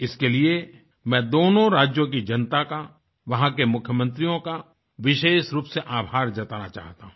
इसके लिए मैं दोनों राज्यों की जनता का वहाँ के मुख्यमंत्रियों का विशेषरूप से आभार जताना चाहता हूँ